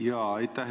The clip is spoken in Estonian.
Jaa, aitäh!